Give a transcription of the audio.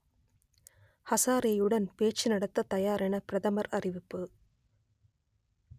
ஹசாரேயுடன் பேச்சு நடத்தத் தயாரென பிரதமர் அறிவிப்பு